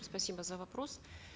спасибо за вопрос